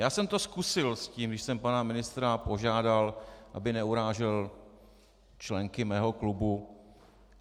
Já jsem to zkusil s tím, když jsem pana ministra požádal, aby neurážel členky mého klubu.